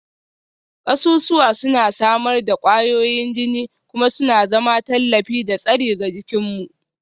Kasusuwa suna samar da ƙwayoyin jini kuma suna zama tallafi da tsari ga jikinmu